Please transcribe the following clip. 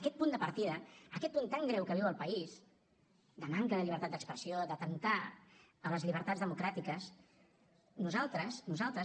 aquest punt de partida aquest punt tan greu que viu el país de manca de llibertat d’expressió d’atemptar contra les llibertats democràtiques nosaltres